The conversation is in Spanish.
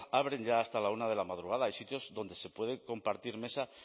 abren ya hasta la una de la madrugada hay sitios donde se puede compartir mesa